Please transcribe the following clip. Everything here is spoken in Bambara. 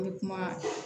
N bɛ kuma